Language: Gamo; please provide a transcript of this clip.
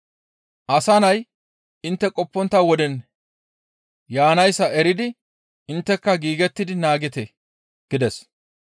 Asa Nay intte qoppontta woden yaanayssa eridi intteka giigettidi naagite» gides.